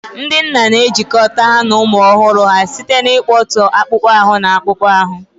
Ndị nna na-ejikọta ha na ụmụ ọhụrụ ha site n'ịkpọtụ akpụkpọ ahụ na akpụkpọ ahụ.